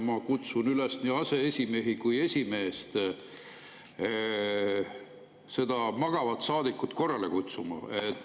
Ma kutsun üles nii aseesimehi kui ka esimeest seda magavat saadikut korrale kutsuma.